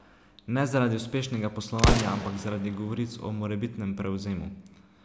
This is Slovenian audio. Ne zaradi uspešnega poslovanja, ampak zaradi govoric o morebitnem prevzemu.